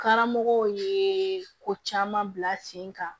Karamɔgɔw ye ko caman bila sen kan